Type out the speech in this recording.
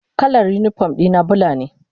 Kalar unipom dina bula ne.